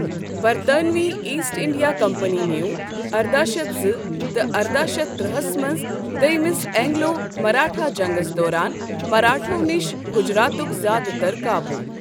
برطانوی East India Company نیو ارداہ شیتھ زٕتہِ ارداہ شیتھ ترٛہَس منٛز دیمِس اینگلو مراٹھا جنگس دوران مراٹھو نِش گجراتُک زیادٕ تر قابووٗ۔